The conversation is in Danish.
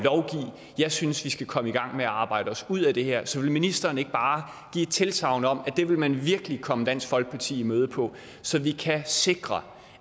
jeg synes vi skal komme i gang med at arbejde os ud af det her så vil ministeren ikke bare give et tilsagn om at det vil man virkelig komme dansk folkeparti i møde på så vi kan sikre